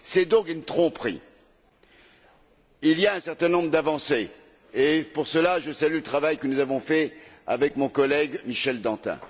C'est donc une tromperie. Il y a un certain nombre d'avancées et, pour cela, je salue le travail que nous avons fait avec mon collègue, Michel Dantin.